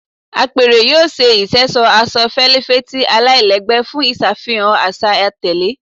Apẹrẹ yoo ṣe iṣẹṣọ aṣọ felifeti alailẹgbẹ fun iṣafihan aṣa atẹle